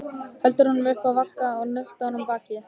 Heldur honum upp að vanga og nuddar á honum bakið.